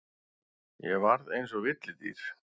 Ég varð eins og villidýr.